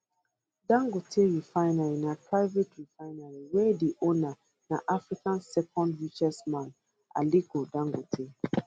dangote refinery na private refinery wey di owner na africa second richest man aliko dangote